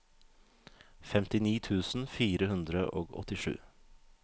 femtini tusen fire hundre og åttisju